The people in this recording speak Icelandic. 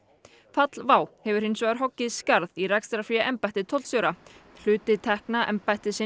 fall WOW hefur hins vegar hoggið skarð í rekstrarfé embætti tollstjóra hluti tekna embættis